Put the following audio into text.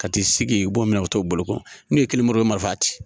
Ka t'i sigi u bɔ minɛ ka t'o bolo ko n'u ye kelen molo o bɛ marifa ci.